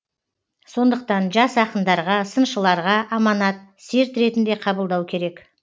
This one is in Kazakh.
сондықтан жас ақындарға сыншыларға аманат серт ретінде қабылдау керек